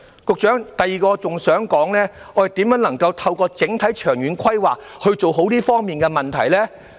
局長，第二，我亦想說說，我們如何能夠透過整體長遠規劃做好這方面的問題呢？